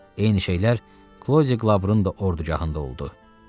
Eyni şeylər Klodi Qlaburun da ordugahında oldu.